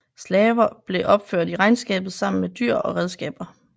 Slaver blev opført i regnskabet sammen med dyr og redskaber